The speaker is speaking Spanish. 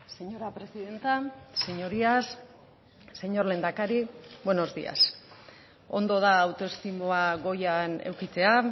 señora presidenta señorías señor lehendakari buenos días ondo da autoestimua goian edukitzea